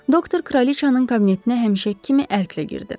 Doktor Kraliçanın kabinetinə həmişəki kimi ərklə girdi.